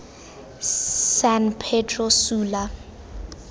san pedro sula